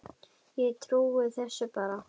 Ég trúi þessu bara.